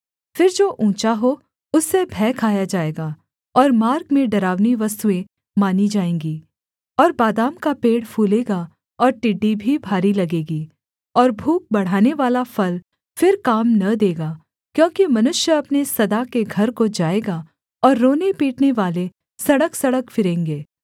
फिर जो ऊँचा हो उससे भय खाया जाएगा और मार्ग में डरावनी वस्तुएँ मानी जाएँगी और बादाम का पेड़ फूलेगा और टिड्डी भी भारी लगेगी और भूख बढ़ानेवाला फल फिर काम न देगा क्योंकि मनुष्य अपने सदा के घर को जाएगा और रोने पीटनेवाले सड़कसड़क फिरेंगे